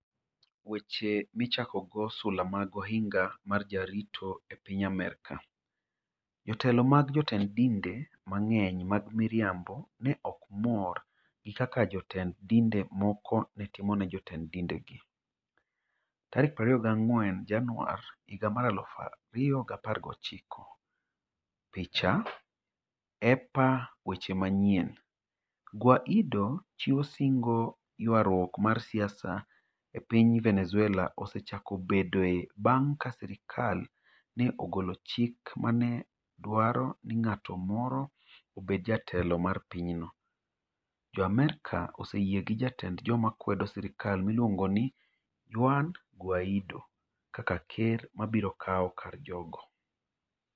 Weche Michakogo Sula mag Ohinga mar Jarito E piny Amerka, jotelo mag jotend dinde mang'eny mag miriambo ne ok mor gi kaka jotend dinde moko ne timo ne jotend dindegi. 24 Januar, 2019 Picha: EPA Weche Manyien, Guaidó 'chiwo singo' Ywaruok mar siasa e piny Venezuela osechako bedoe bang ' ka sirkal ne ogolo chik ma ne dwaro ni ng'at moro obed jatelo mar pinyno. Jo Amerka oseyie gi jatend joma kwedo sirkal miluongo ni Juan Guaidó kaka ker ma biro kawo kar jogo.